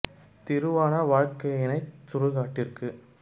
திருவான வாழ்க்கையினைச் சுடுகாட் டிற்குத்